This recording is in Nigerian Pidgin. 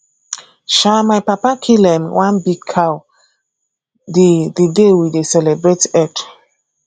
um my papa kill um one big cow the the day we dey celebrate eid